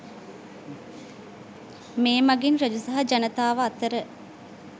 මේ මගින් රජු සහ ජනතාව අතර